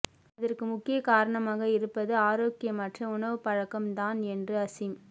அதற்கு முக்கிய காரணமாக இருப்பது ஆரோக்கியமற்ற உணவுப்பழக்கம் தான் என்று அசீம்